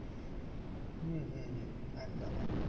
হম হম হম একদম একদম